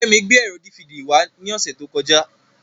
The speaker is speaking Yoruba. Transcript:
Kẹ́mi gbé ẹ̀rọ dífidì wá ní ọ̀sẹ̀ tó kọjá.